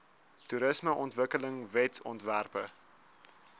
toerismeontwikkelingwetsontwerpe